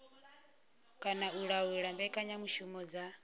kana u laula mbekanyamushumo dza